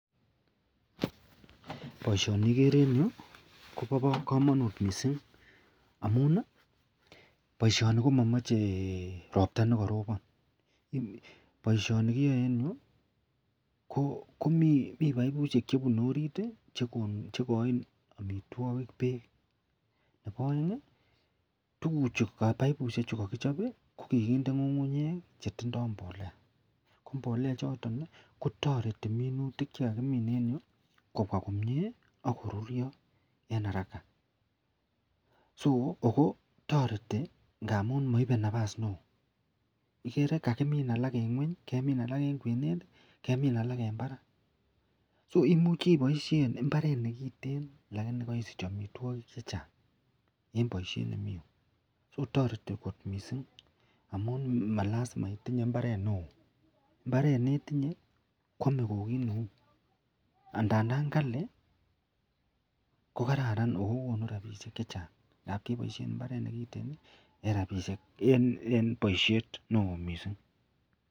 Baishoni igere en Yu Koba kamanut mising amun baishoni komamache robta nekaroban baishoni kiyae en Yu ko mi baibushek chebunu orit chekain amitwagik bek Nebo aeng ko baibushek chuton kakichop ko kakinde ngungunyek akotindoi mbolea ako mbolea choton kotareti minutik chekakimin en Yu kobwa komie akorurio en haraka(so) ako ngamun maibe nabas neon igere kakimin alakben ngweny kemin alak en kwenet kemin alak en Barak (So)imuchi ibaishen imbaret nekiten lakini kaisich amitamwagik chechang en baishet nemi Yu (so)tareti kot mising amun malasima itinye mbaret neon mbaret netinye Kwame ko kit Neu andandan Kali kokararan akokonunrabinik chechang ngamun kebaishen imbaret nekiten en baishet neon mising .